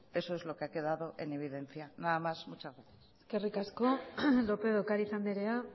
eso es lo que ha quedado en evidencia nada más y muchas gracias eskerrik asko lópez de ocariz andrea